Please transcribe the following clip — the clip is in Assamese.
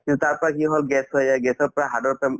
কিন্তু তাৰপৰা কি হল gas হৈ যায় gas ৰ পৰা heart ৰ পৰা